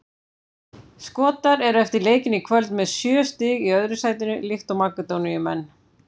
Skotar eru eftir leikinn í kvöld með sjö stig í öðru sætinu líkt og Makedóníumenn.